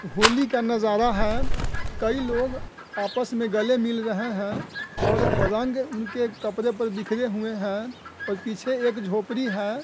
होली का नजारा है कई लोग आपस में गले मिल रहे हैं रंग उनके कपड़े पर बिखरे हुए हैं और पीछे एक झोपड़ी है।